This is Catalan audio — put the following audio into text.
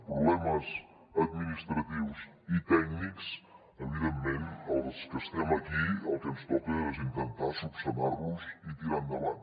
problemes administratius i tècnics evidentment als que estem aquí el que ens toca és intentar esmenar los i tirar endavant